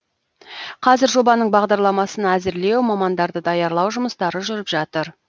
қазір жобаның бағдарламасын әзірлеу мамандарды даярлау жұмыстары жүріп жатыр